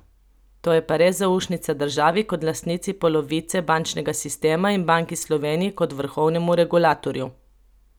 To je pa res zaušnica državi kot lastnici polovice bančnega sistema in Banki Slovenije kot vrhovnemu regulatorju.